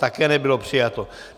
Také nebylo přijato.